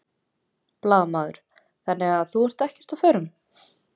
Blaðamaður: Þannig að þú ert ekki á förum?